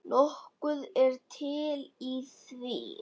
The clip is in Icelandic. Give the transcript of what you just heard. Nokkuð er til í því.